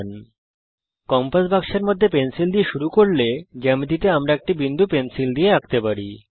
যদি আমরা কম্পাস বাক্সের মধ্যে পেন্সিল দিয়ে শুরু করি জ্যামিতিতে আমরা একটি বিন্দু পেন্সিল দিয়ে আঁকতে পারি